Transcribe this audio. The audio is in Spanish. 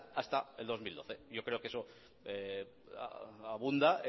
hasta el dos mil doce yo creo que eso abunda